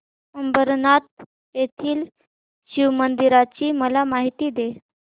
अंबरनाथ येथील शिवमंदिराची मला माहिती दे